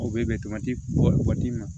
O bɛ bɔ ka d'i ma